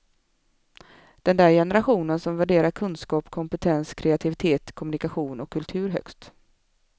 Den där generationen som värderar kunskap, kompetens, kreativitet, kommunikation och kultur högst.